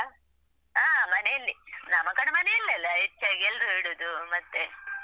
ಹಾ ಮನೆಯಲ್ಲಿ ನಾಮಕರಣ ಮನೆಯಲ್ಲೇ ಅಲ್ಲಾ ಹೆಚ್ಚಾಗಿ ಎಲ್ರು ಇಡುದು ಮತ್ತೆ.